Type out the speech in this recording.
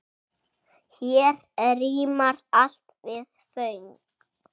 Hér rímar allt við föng.